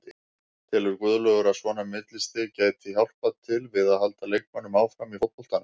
Telur Guðlaugur að svona millistig gæti hjálpað til við að halda leikmönnum áfram í fótboltanum?